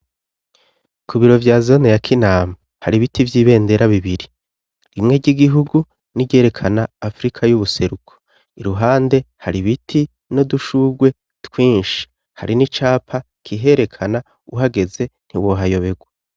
Ku biro vya zana ya kinama hari ibiti vy'ibendera bibiri rimwe ry'igihugu n'iryerekana afrika y'ubuseruko iruhande hari ibiti no dushurwe twinshi hari n'icapa kiherekana uhageze ntiwohayoberwa.